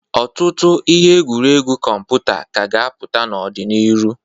Ọtụtụ ihe egwuregwu kọmputa ka a ga-apụta n'ọ dị n'irụ.